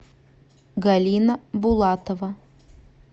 галина булатова